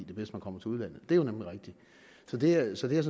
bedst man kommer til udlandet det er jo nemlig rigtigt så det er jeg sådan